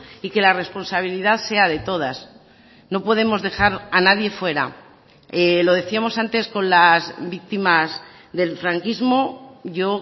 y que la responsabilidad sea de todas no podemos dejar a nadie fuera lo decíamos antes con las víctimas del franquismo yo